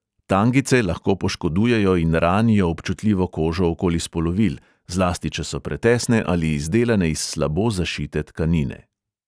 Tangice lahko poškodujejo in ranijo občutljivo kožo okoli spolovil, zlasti če so pretesne ali izdelane iz slabo zašite tkanine.